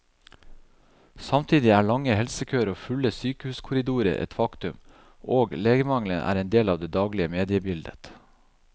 Samtidig er lange helsekøer og fulle sykehuskorridorer et faktum, og legemangelen er en del av det daglige mediebildet.